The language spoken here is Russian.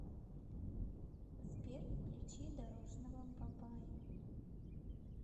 сбер включи дорожного бабая